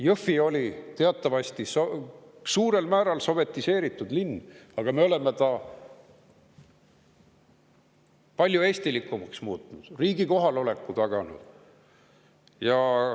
Jõhvi oli teatavasti suurel määral sovetiseeritud linn, aga me oleme ta palju eestilikumaks muutnud, riigi kohaloleku taganud.